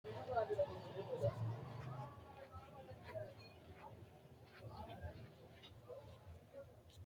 Mannu ganbba yee booharani leelanno base tini hiitoote insa ofolte leeltanno qoxeesubba maricho leelishanno badhensaani leeltanno addi addi haqqe afidhino horo maati